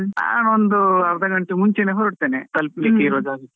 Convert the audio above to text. ನಾನ್ ಒಂದು ಅರ್ಧ ಗಂಟೆ ಮುಂಚೆನೇ ಹೊರಡ್ತೇನೆ, ತಪ್ಲಿಕ್ಕೆ ಇರುವ ಜಾಗಕ್ಕೆ.